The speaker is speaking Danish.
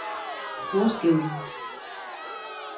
forskellen